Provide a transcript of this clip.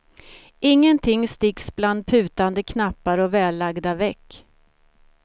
Ingenting sticks bland putande knappar och vällagda veck.